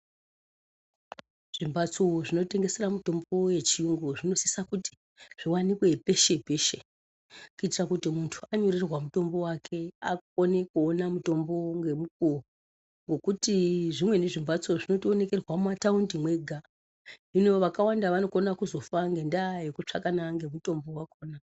Zvimbatso zvinotengesera mitombo yechiyungu zvinosisa kuti zviwanikwe peshe peshe kuitira kuti muntu anyorerwa mutombo wake akone kuona mutombo ngemukuwo nekuti zvimweni zvimbatso zvinotoonekerwa mumataundi mwega. Hino vakawanda vanokona kuzofa ngendaya yekutsvaka na ngemutombo wakona